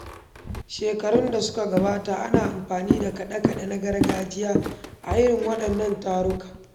Shekarun da suka gabata, ana amfani da kaɗe-kaɗe na gargajiya a irin waɗannan tarurruka.